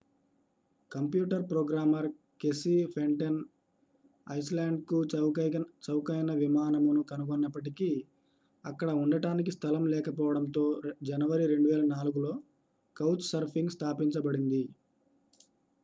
computer programmer Casey Fenton ఐస్లాండ్కు చౌకైన విమానమును కనుగొన్నప్పటికీ అక్కడ ఉండటానికి స్థలం లేకపోవడంతో జనవరి 2004 లో కౌచ్ సర్ఫింగ్ స్థాపించబడింది